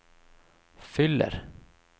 fyller